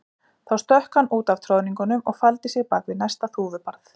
Þá stökk hann út af troðningunum og faldi sig bak við næsta þúfubarð.